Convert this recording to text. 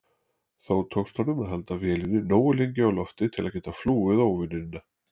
Þó tókst honum að halda vélinni nógu lengi á lofti til að geta flúið óvinina.